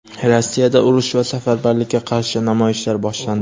Rossiyada urush va safarbarlikka qarshi namoyishlar boshlandi.